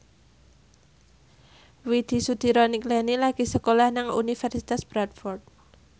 Widy Soediro Nichlany lagi sekolah nang Universitas Bradford